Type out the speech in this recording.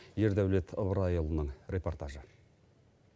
ердәулет ыбырайұлының репортажы